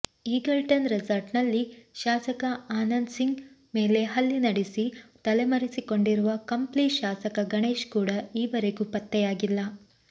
Eagleton ರೆಸಾರ್ಟ್ನಲ್ಲಿ ಶಾಸಕ ಆನಂದ್ಸಿಂಗ್ ಮೇಲೆ ಹಲ್ಲೆ ನಡೆಸಿ ತಲೆಮರೆಸಿಕೊಂಡಿರುವ ಕಂಪ್ಲಿ ಶಾಸಕ ಗಣೇಶ್ ಕೂಡ ಈವರೆಗೂ ಪತ್ತೆಯಾಗಿಲ್ಲ